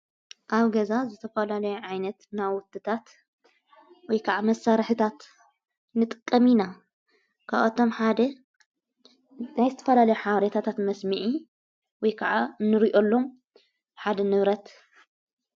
ኣብ ገዛ ዘተፈላለዩ ዓይነት ናዉትታት ወይ ከዓ መሠርሕታት ንጥቀም ኢና ካብ አቶም ሓደ ናይ ዝተፈላለዮ ሓብሬታታት መስሚዕ ወይ ከዓ ንርእየሎም ሓደ ንብረት::